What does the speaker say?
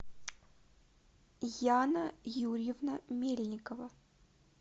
яна юрьевна мельникова